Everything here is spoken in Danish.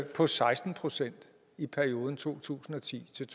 på seksten procent i perioden to tusind og ti til